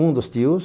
Um dos tios,